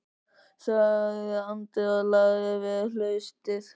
sagði Andri og lagði við hlustir.